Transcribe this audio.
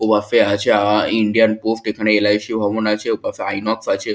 ওবাফে আছে আ-আ-আ Indian Post এখানে এল.আই সি. ভবন আছে ওপাশে ইনক্স আছে।